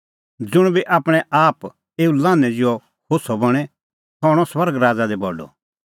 ज़ुंण बी आपणैं आप एऊ लान्हैं ज़िहअ होछ़अ बणें सह हणअ स्वर्ग राज़ा दी बडअ